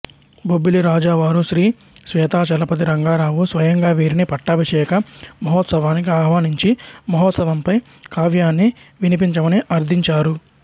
బొబ్బిలి రాజావారు శ్రీ శ్వేతాచలపతి రంగారావు స్వయంగా వీరిని పట్టాభిషేక మహోత్సవానికి ఆహ్వానించి మహోత్సవంపై కావ్యాన్ని వినిపించమని అర్ధించారు